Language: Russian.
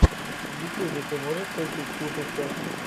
в ютьюбе ты можешь включить тушича